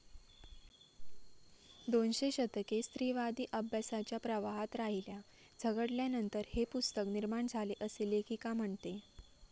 दोनशे दशके स्त्रीवादी अभ्यासाच्या प्रवाहात राहील्या, झगडल्यानंतर हे पुस्तक निर्माण झाले असे लेखिका म्हणते.